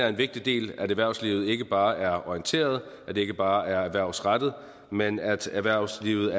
en vigtig del at erhvervslivet ikke bare er orienteret og at det ikke bare er erhvervsrettet men at erhvervslivet